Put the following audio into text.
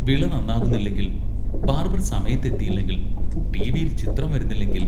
വിള നന്നാകുന്നില്ലെങ്കിൽ, ബാർബർ സമയത്ത് എത്തിയില്ലെങ്കിൽ, ടി.വിയിൽ ചിത്രങ്ങൾ വരുന്നില്ലെങ്കിൽ.....